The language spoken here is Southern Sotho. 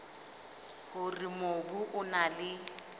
hore mobu o na le